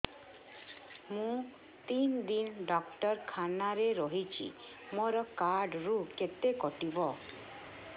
ମୁଁ ତିନି ଦିନ ଡାକ୍ତର ଖାନାରେ ରହିଛି ମୋର କାର୍ଡ ରୁ କେତେ କଟିବ